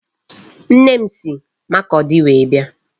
Nne m si Makurdi wee bịa.